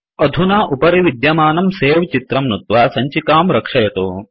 अधुना उपरिविद्यमानं सवे चित्रं नुत्त्वा सञ्चिकां रक्षयतु